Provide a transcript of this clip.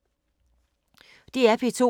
DR P2